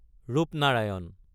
Rupnarayan